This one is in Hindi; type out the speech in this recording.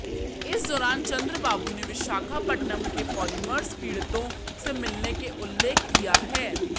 इस दौरान चंद्रबाबू ने विशाखापट्टणम के पॉलीमर्स पीड़ितों से मिलने के उल्लेख किया है